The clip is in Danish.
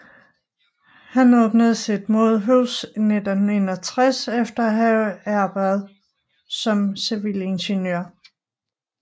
Han åbnede sit eget modehus i 1961 efter at have arbejdet som civilingeniør